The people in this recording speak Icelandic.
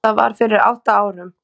Það var fyrir átta árum.